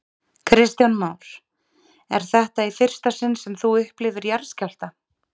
Kristján Már: Er þetta í fyrsta sinn sem þú upplifir jarðskjálfta?